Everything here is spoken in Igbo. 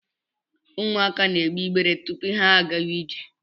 Ụmụaka na egbe igbere tupu ha agawa ije.